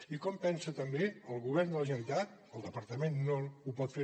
i com pensa també el govern de la generalitat el departament no ho pot fer